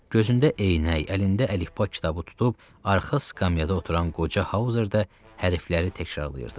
Gözündə eynək, əlində əlifba kitabı tutub arxa skamyada oturan qoca Hauzer də hərfləri təkrarlayırdı.